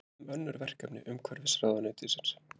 En hvað um önnur verkefni umhverfisráðuneytis?